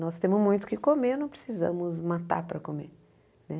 Nós temos muito o que comer, não precisamos matar para comer.